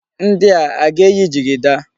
Ndi a, a ga-eyi jigida?